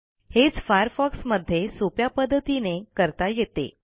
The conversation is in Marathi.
हेच फायरफॉक्स मध्ये सोप्या पध्दतीने करता येते